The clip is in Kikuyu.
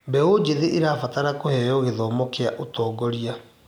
Mbeũ njĩthĩ ĩrabatara kũheo gĩthomo kĩaũtongoria.